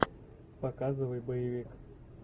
показывай боевик